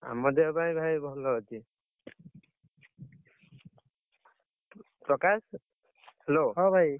ଆମ ଦେହ ପାଆ ବି ଭାଇ ଭଲ ଅଛି। ପ୍ରକାଶ, Hello । ହଁ ଭାଇ,